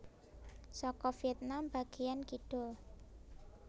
Saka Vietnam bagéyan kidul